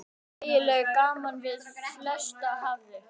Þægileg ganga við flestra hæfi.